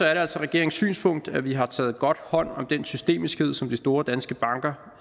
er det altså regeringens synspunkt at vi har taget godt hånd om den systemiskhed som de store danske banker